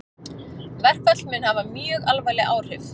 Verkfall mun hafa mjög alvarleg áhrif